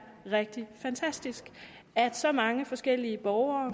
rigtig fantastisk at så mange forskellige borgere